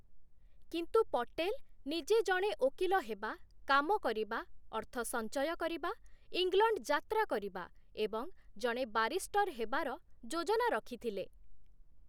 କିନ୍ତୁ ପଟେଲ ନିଜେ ଜଣେ ଓକିଲ ହେବା, କାମ କରିବା, ଅର୍ଥ ସଂଚୟ କରିବା, ଇଂଲଣ୍ଡ ଯାତ୍ରା କରିବା ଏବଂ ଜଣେ ବାରିଷ୍ଟର ହେବାର ଯୋଜନା ରଖିଥିଲେ ।